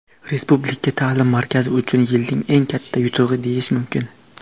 Respublika taʼlim markazi uchun yilning eng katta yutug‘i deyish mumkin.